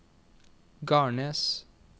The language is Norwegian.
Garnes